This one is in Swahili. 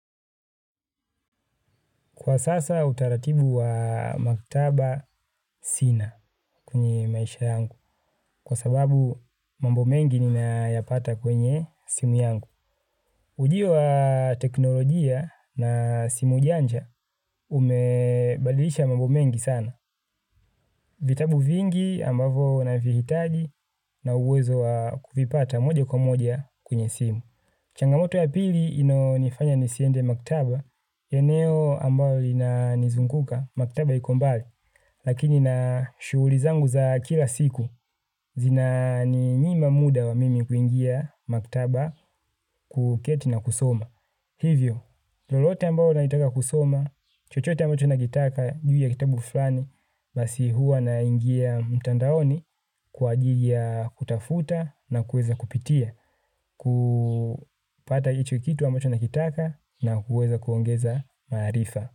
Kwa sasa utaratibu wa maktaba sina kwenye maisha yangu kwa sababu mambo mengi ninayapata kwenye simu yangu. Ujio wa teknolojia na simu janja umebadilisha mambo mengi sana. Vitabu vingi ambavyo navihitaji na uwezo wa kuvipata moja kwa moja kwenye simu. Changamoto ya pili inayonifanya nisiende maktaba eneo ambayo linanizunguka maktaba iko mbali. Lakini na shughuli zangu za kila siku, zinaninyima muda wa mimi kuingia maktaba kuketi na kusoma. Hivyo, lolote ambao naitaka kusoma, chochote ambacho nakitaka, juu ya kitabu fulani, basi huwa naingia mtandaoni, kwa ajili ya kutafuta na kuweza kupitia, kupata hicho kitu ambacho nakitaka na kuweza kuongeza maarifa.